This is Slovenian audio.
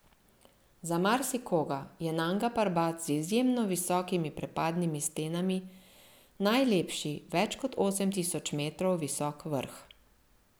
Za marsikoga je Nanga Parbat z izjemno visokimi prepadnimi stenami najlepši več kot osem tisoč metrov visok vrh.